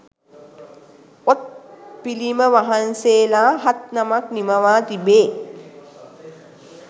ඔත් පිළිමවහන්සේලා හත් නමක් නිමවා තිබේ